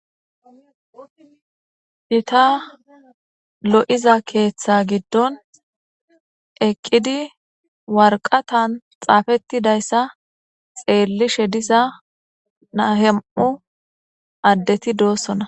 Hita lo'iza keeththa giddon eqqidi warqatan xaafettidayssa xeellishe disa naahem'u addeti doossona.